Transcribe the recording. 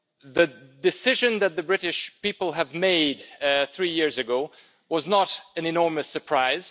The decision that the British people made three years ago was not an enormous surprise.